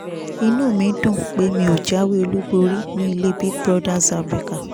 inú mi dùn pé mi ò jáwé olúborí ní ilé big brothers afrika